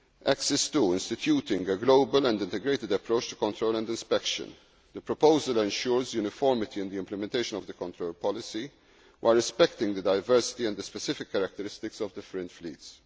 Axis 2 instituting a global and integrated approach to control and inspection. The proposal ensures uniformity in the implementation of the control policy, while respecting the diversity and the specific characteristics of different fleets.